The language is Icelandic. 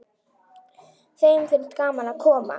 Þeim finnst gaman að koma.